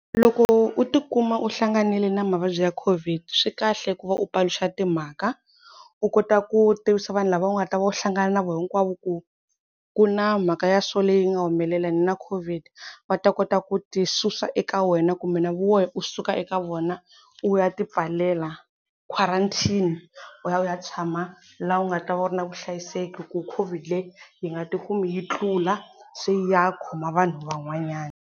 Loko u ti kuma u hlanganile na mavabyi ya Covid swi kahle ku va u paluxa timhaka u kota ku tivisa vanhu lava u nga ta va u hlangana na vona hinkwavo ku ku na mhaka ya swo leyi nga humelela ni na Covid, va ta kota ku ti susa eka wena kumbe na wena u suka eka vona u ya tipfalela, quarantine u ya u ya tshama laha u nga ta va u ri na vuhlayiseki ku Covid leyi yi nga ti kumi yi tlula se yi ya khoma vanhu van'wanyana.